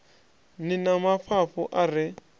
ni na mafhafhu a re